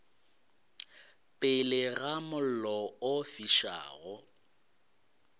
pele ga mollo o fišago